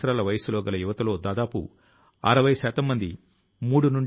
ఒక రకం గా ఇది స్వావలంబనయుక్తమైనటువంటి భారతదేశం యొక్క మంత్రం కూడాను